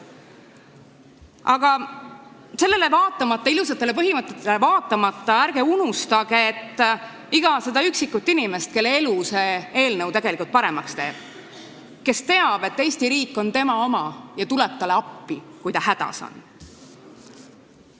Aga sellele vaatamata, ilusatele põhimõtetele vaatamata ärge unustage iga üksikut inimest, kelle elu see eelnõu tegelikult paremaks teeb, kes teab, et Eesti riik on tema oma ja tuleb talle appi, kui ta hädas on.